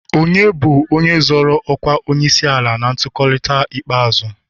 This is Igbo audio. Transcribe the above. Onye bụ onye zọro ọkwa onyeisiala na ntuliaka ikpeazụ?